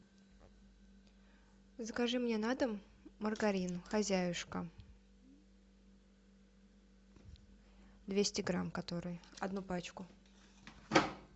закажи мне на дом маргарин хозяюшка двести грамм который одну пачку